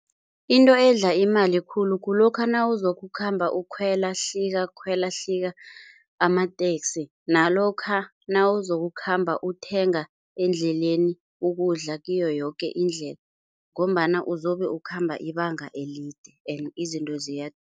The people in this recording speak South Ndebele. Into edla imali khulu kulokha nawuzokukhamba ukhwela, hlika, khwela, hlika amateksi nalokha nawuzokukhamba uthenga endleleni ukudla kiyo yoke indlela ngombana uzobe ukhamba ibanga elide ende izinto